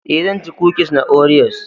E,zan ci kukis na Oreos.